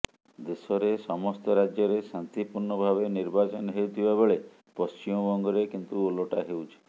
ଦେଶରେ ସମସ୍ତ ରାଜ୍ୟରେ ଶାନ୍ତିପୁର୍ଣ୍ଣ ଭାବେ ନିର୍ବାଚନ ହେଉଥିବା ବେଳେ ପଶ୍ଚିମବଙ୍ଗରେ କିନ୍ତୁ ଓଲଟା ହେଉଛି